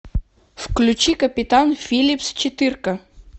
включи капитан филлипс четырка